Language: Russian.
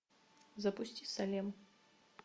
запусти салем